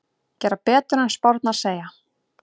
Gera betur en spárnar segja